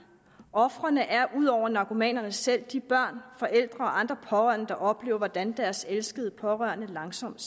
ofrene er ud over narkomanerne selv de børn forældre og andre pårørende der oplever hvordan deres elskede pårørende langsomt